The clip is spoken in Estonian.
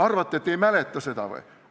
Arvate, et ma ei mäleta seda?